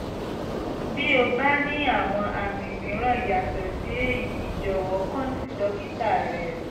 bí o bá ní àwọn àmì mìíràn yàtọ̀ sí èyí jọ̀wọ́ kàn sí dókítà rẹ